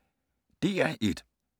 DR1